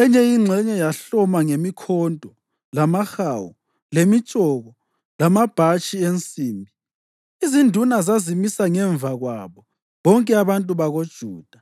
enye ingxenye yahloma ngemikhonto, lamahawu, lemitshoko lamabhatshi ensimbi. Izinduna zazimisa ngemva kwabo bonke abantu bakoJuda